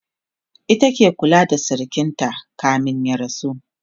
ita ke ta kulawa da sirikinta kamin ya rasu